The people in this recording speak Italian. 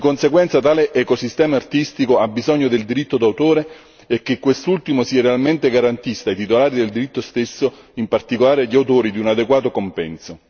Di conseguenza tale ecosistema artistico ha bisogno del diritto di autore e che quest'ultimo sia realmente garantista, ai titolari del diritto stesso, in particolare agli autori, di un adeguato compenso.